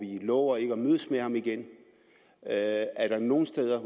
vi lover ikke at mødes med ham igen er der nogen steder